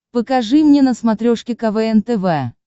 покажи мне на смотрешке квн тв